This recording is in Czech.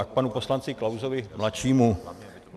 A k panu poslanci Klausovi mladšímu.